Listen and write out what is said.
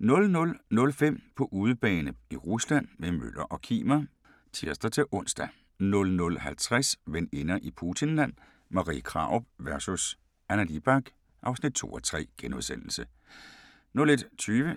00:05: På udebane i Rusland – med Møller og Kimer (tir-ons) 00:50: Veninder i Putinland – Marie Krarup vs. Anna Libak (2:3)* 01:20: